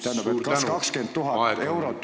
Tähendab, kas 20 000 eurot on piisav põhjus, et ...